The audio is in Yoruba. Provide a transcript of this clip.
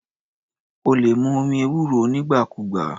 O lè mu omi ewúro nígbà kúùgbà.